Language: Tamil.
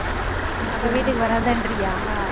அப்ப வீட்டுக்கு வராதேன்றியா?